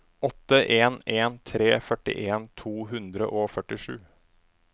åtte en en tre førtien to hundre og førtisju